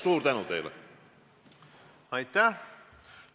Aitäh!